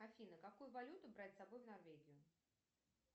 афина какую валюту брать с собой в норвегию